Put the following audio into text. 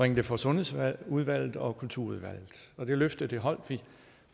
det for sundhedsudvalget og kulturudvalget det løfte holdt vi